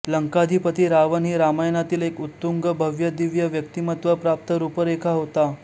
लंकाधिपती रावण ही रामायणातील एक उत्तुंग भव्य दिव्य व्यक्तिमत्त्वप्राप्त रूपरेखा होता